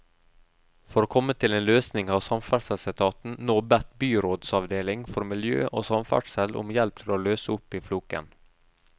For å komme til en løsning har samferdselsetaten nå bedt byrådsavdeling for miljø og samferdsel om hjelp til å løse opp i floken.